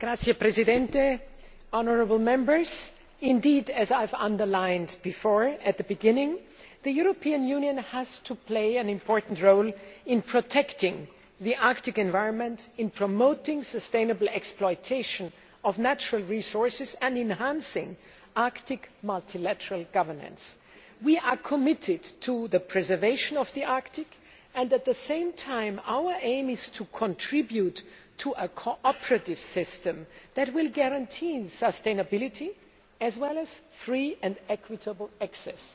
Mr President, as I underlined at the beginning of this important debate, the European Union has to play an increasing role in protecting the Arctic environment, in promoting sustainable exploitation of natural resources and in enhancing Arctic multilateral governance. We are committed to the preservation of the Arctic and, at the same time, our aim is to contribute to a cooperative system that will guarantee sustainability, as well as free and equitable access.